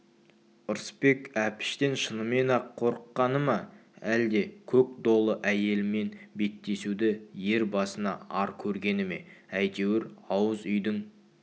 ырысбек әпіштен шынымен-ақ қорыққаны ма әлде көк долы әйелмен беттесуді ер басына ар көргені ме әйтеуір ауыз үйдің